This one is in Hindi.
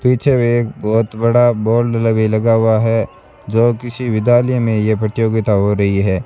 पीछे में एक बहुत बड़ा बोर्ड लगी लगा हुआ है जो किसी विद्यालय में यह प्रतियोगिता हो रही है।